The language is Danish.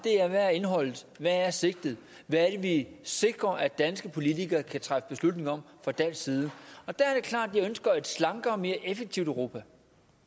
hvad er indholdet hvad er sigtet hvad er det vi sikrer at danske politikere kan træffe beslutninger om fra dansk side og der er det klart at jeg ønsker et slankere og mere effektivt europa